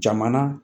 Jamana